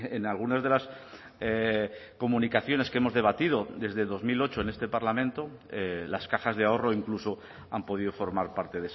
en algunas de las comunicaciones que hemos debatido desde dos mil ocho en este parlamento las cajas de ahorro incluso han podido formar parte